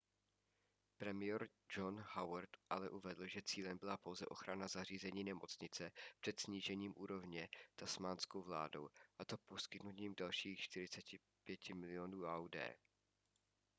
premiér john howard ale uvedl že cílem byla pouze ochrana zařízení nemocnice před snížením úrovně tasmánskou vládou a to poskytnutím dalších 45 milionů aud